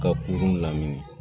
Ka kurun lamini